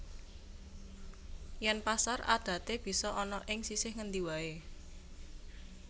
Yèn pasar adaté bisa ana ing sisih ngendi waé